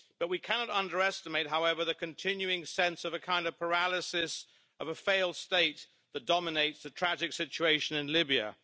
We cannot underestimate, however, the continuing sense of a kind of paralysis of a failed state that dominates the tragic situation in Libya.